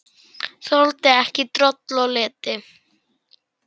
Þoldi ekki droll og leti.